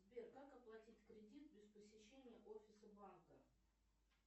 сбер как оплатить кредит без посещения офиса банка